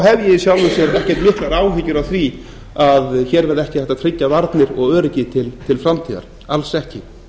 í sjálfu sér ekki miklar áhyggjur af því að hér verði ekki hægt að tryggja varnir og öryggi til framtíðar alls ekki